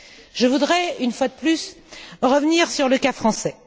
Je voudrais, une fois de plus, revenir sur le cas français.